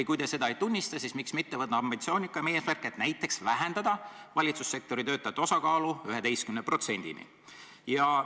Ja kui te seda ei tunnista, siis miks mitte võtta ambitsioonikam eesmärk, et näiteks vähendada valitsussektori töötajate osakaalu 11%-ni?